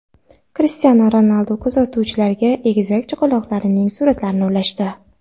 Krishtianu Ronaldu kuzatuvchilariga egizak chaqaloqlarining suratlarini ulashdi.